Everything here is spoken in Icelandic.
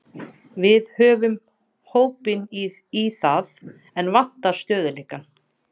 Við höfum hópinn í það, en vantar stöðugleikann.